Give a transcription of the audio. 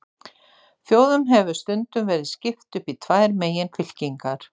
Þjóðum hefur stundum verið skipt upp í tvær meginfylkingar.